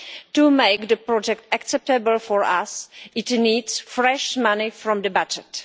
To make the project acceptable for us, it needs fresh money from the budget.